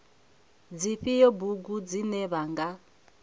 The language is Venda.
dzifhio bugu dzine vha nga